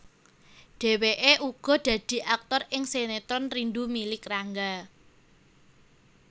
Dheweke uga dadi aktor ing sinetron Rindu Milik Rangga